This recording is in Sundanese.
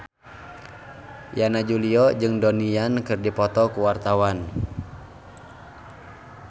Yana Julio jeung Donnie Yan keur dipoto ku wartawan